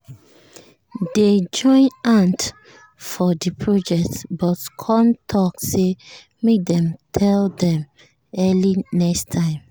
dey join hand for the project but con talk say make dem tell dem early next time